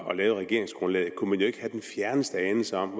og lavede regeringsgrundlaget kunne man jo ikke have den fjerneste anelse om